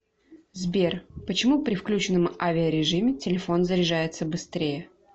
сбер почему при включенном авиарежиме телефон заряжается быстрее